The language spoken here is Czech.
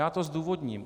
Já to zdůvodním.